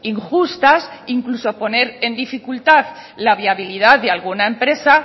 injustas incluso poner en dificultad la viabilidad de alguna empresa